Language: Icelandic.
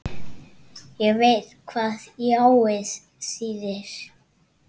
Ég veit hvað jáið þýðir.